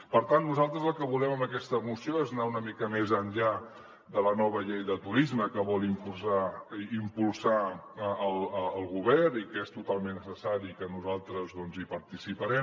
per tant nosaltres el que volem amb aquesta moció és anar una mica més enllà de la nova llei de turisme que vol impulsar el govern i que és totalment necessari que nosaltres hi participem